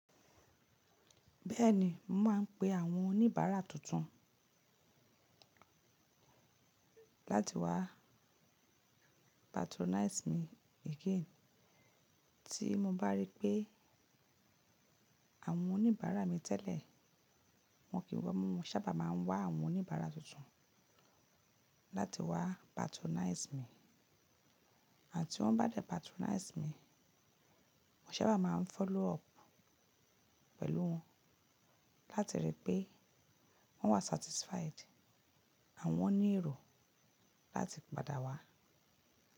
Bẹ́ẹ̀ni, mà á ń pe àwọn oníbàárà tuntun láti wá patronize mi again. Tí mo bá rí pé àwọn oníbàárà mi tẹ́lẹ̀, wọ́n kì í wọ́mọ̀, mo sábà máa ń wá àwọn oníbàárà tuntun láti wá patronize mi. Àti tí wọ́n bá dé patronize mi, mo sábà máa ń follow up pẹ̀lú wọn láti rí pé wọ́n wà satisfied àwọn ni èrò láti padà wá.